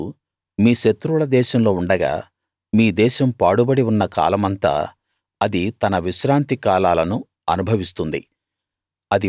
మీరు మీ శత్రువుల దేశంలో ఉండగా మీ దేశం పాడుబడి ఉన్న కాలమంతా అది తన విశ్రాంతి కాలాలను అనుభవిస్తుంది